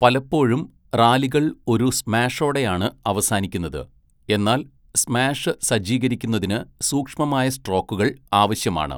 പലപ്പോഴും റാലികൾ ഒരു സ്മാഷോടെയാണ് അവസാനിക്കുന്നത്, എന്നാൽ സ്മാഷ് സജ്ജീകരിക്കുന്നതിന് സൂക്ഷ്മമായ സ്ട്രോക്കുകൾ ആവശ്യമാണ്.